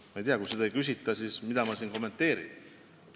Aga kui selle kohta ei küsita, siis mida ma siin kommenteerin?